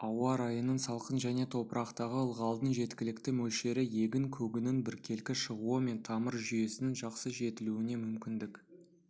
ауа райының салқын және топырақтағы ылғалдың жеткілікті мөлшері егін көгінің біркелкі шығуы мен тамыр жүйесінің жақсы жетілуіне мүмкіндік